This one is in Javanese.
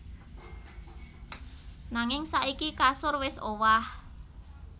Nanging saiki kasur wis owah